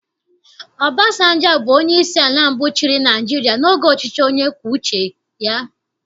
Obasanjọ bụ onyeisi ala mbụ chịrị Naịjirịa n'oge ọchịchị onye kwue uche ya